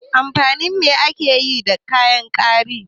Amfanin me ake yi da kayan gwari?